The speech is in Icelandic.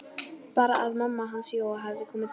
Bara að mamma hans Jóa hefði komið til dyra.